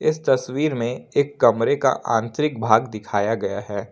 इस तस्वीर में एक कमरे का आंतरिक भाग दिखाया गया है।